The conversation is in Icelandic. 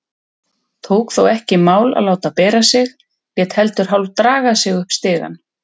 Tók þó ekki í mál að láta bera sig, lét heldur hálfdraga sig upp stigann.